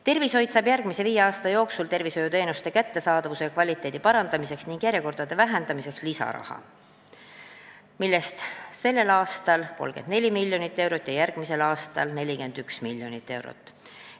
Tervishoid saab järgmise viie aasta jooksul tervishoiuteenuste kättesaadavuse ja kvaliteedi parandamiseks ning järjekordade lühendamiseks lisaraha, sellel aastal 34 miljonit eurot ja järgmisel aastal 41 miljonit eurot.